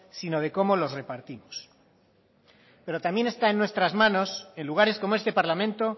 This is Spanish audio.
sino de cómo los repartimos pero también está en nuestras manos en lugares como este parlamento